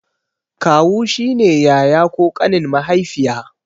Kawu shine yaya ko ƙanin mahaifiya